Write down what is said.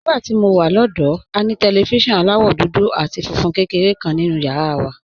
Nígbà tí mo wà lọ́dọ̀ọ́, a ní tẹlifíṣọ̀n aláwọ̀ dúdú àti funfun kékeré kan nínú yàrá wa.